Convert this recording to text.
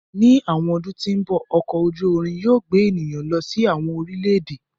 Ni awọn ọdun ti n bọ, ọkọ oju irin yóò gbe eniyan lọ si awọn orilẹ-ede.